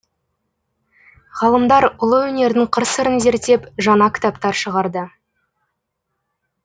ғалымдар ұлы өнердің қыр сырын зерттеп жаңа кітаптар шығарды